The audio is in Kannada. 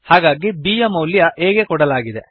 ಹಾಗಾಗಿ b ಯ ಮೌಲ್ಯ a ಗೆ ಕೊಡಲಾಗಿದೆ